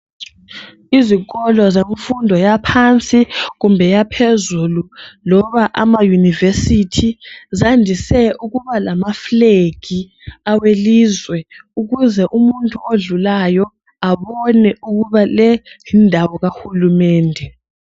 Izikolo zemfundo yaphansi kumbe yaphezulu loba amauniversity. Zandise ukuba lama flag awelizwe ukuze umuntu odlulayo abone ukuba le yindawo kahulumende.